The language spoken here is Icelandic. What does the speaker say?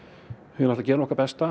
við gerum okkar besta